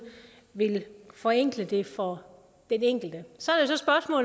vil forenkle det for den enkelte så